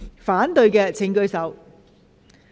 反對的請舉手。